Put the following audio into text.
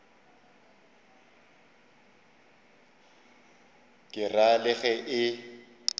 ke ra le ge e